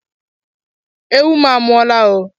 Ewu m a mụọla o!